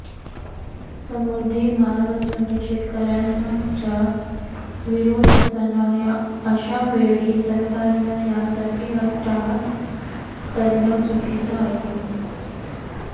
समृद्धी मार्गासाठी शेतकऱ्यांचा विरोध असताना अशावेळी सरकारनं यासाठी अट्टाहास करणं चुकीचं आहे